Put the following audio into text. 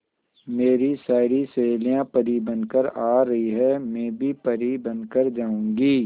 मेरी सारी सहेलियां परी बनकर आ रही है मैं भी परी बन कर जाऊंगी